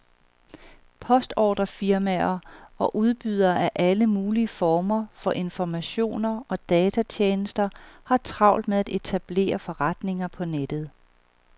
Postordrefirmaer og udbydere af alle mulige former for informationer og datatjenester har travlt med at etablere forretninger på nettet.